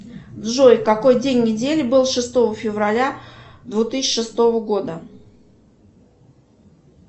джой какой день недели был шестого февраля две тысячи шестого года